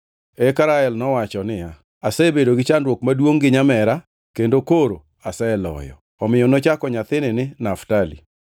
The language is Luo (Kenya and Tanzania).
Eka Rael nowacho niya, “Asebedo gi chandruok maduongʼ gi nyamera, kendo koro aseloyo.” Omiyo nochako nyathini ni Naftali. + 30:8 Naftali tiende ni thagruokna.